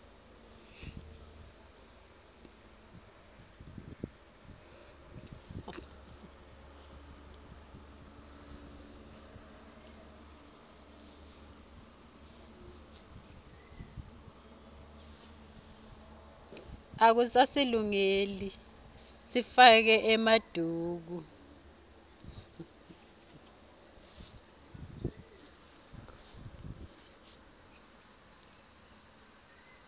akusasilungeli sifake emaduku